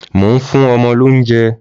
Mò ń fún ọmọ lóúnjẹ.